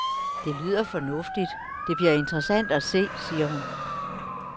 Det lyder fornuftigt, det bliver interessant at se, siger hun.